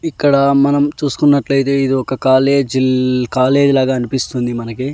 ఇక్కడ మనం చూసుకున్నట్లయితే ఇది ఒక కాలేజీల్ కాలేజీ లాగా అనిపిస్తుంది మనకి.